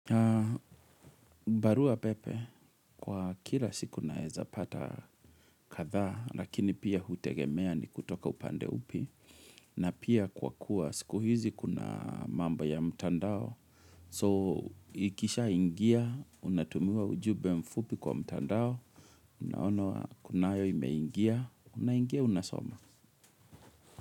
Barua pepe, kwa kila siku naeza pata kadhaa, lakini pia hutegemea ni kutoka upande upi, na pia kwa kuwa siku hizi kuna mambo ya mtandao. So, ikisha ingia, unatumiwa ujumbe mfupi kwa mtandao, unaona kunayo imeingia, unaingia unasoma.